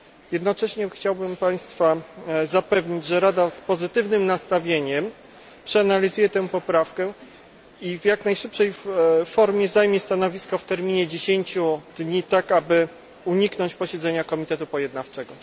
Jednocześnie chciałbym Państwa zapewnić, że Rada z pozytywnym nastawieniem przeanalizuje tę poprawkę i w jak najszybszej formie zajmie stanowisko w terminie 10 dni, tak aby uniknąć posiedzenia komitetu pojednawczego.